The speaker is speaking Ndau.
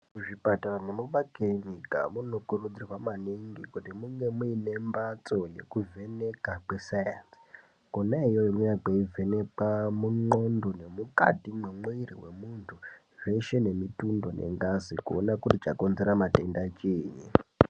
Muzvipatara nemumakirinika munokurudzirwa maningi kuti munge muine mbatso yekuvheka kwesainzi kona iyoyo kweivhenekwa munxondo nemukati mwemwiri mwemuntu zveshe nemutundo nengazi kuona kuti chakonzera matenda chini.